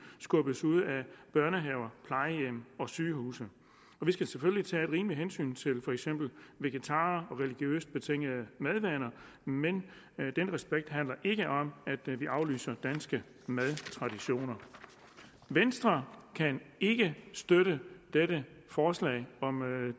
skubbes ud af børnehaver plejehjem og sygehuse vi skal selvfølgelig tage et rimeligt hensyn til for eksempel vegetarer og religiøst betingede madvaner men den respekt handler ikke om at vi aflyser danske madtraditioner venstre kan ikke støtte dette forslag om